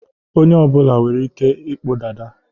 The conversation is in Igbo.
onye ọ bụla nwere Ike ịkpụ Dada